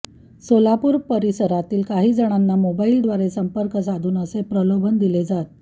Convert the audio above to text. सोलापूर परिसरातील काही जणांना मोबाईलद्वारे संपर्क साधून असे प्रलोभन दिले जात